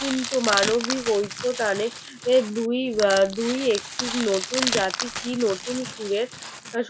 কিন্তু মানবিক ঐক্য টানে এই দুই দুই নতুন জাতির কি নতুন সুরের